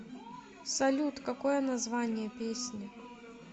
салют какое название песни